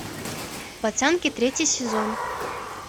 пацанки третий сезон